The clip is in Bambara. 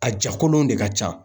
A jakolonw de ka ca